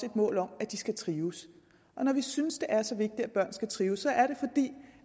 et mål om at de skal trives og når vi synes det er så vigtigt at børn skal trives